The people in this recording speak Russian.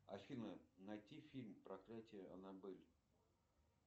афина найти фильм проклятие аннабель